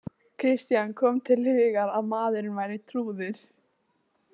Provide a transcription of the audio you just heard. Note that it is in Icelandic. Christian kom til hugar að maðurinn væri trúður.